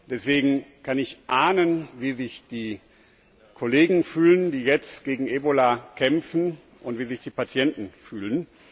Deswegen kann ich ahnen, wie sich die Kollegen fühlen, die jetzt gegen Ebola kämpfen, und wie sich die Patienten fühlen.